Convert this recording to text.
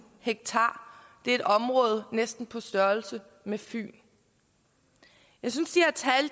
ha det er et område næsten på størrelse med fyn jeg synes